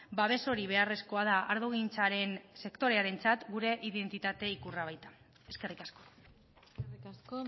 babes hori beharrezkoa da ardogintzaren sektorearentzat gure identitate ikurra baita eskerrik asko eskerrik asko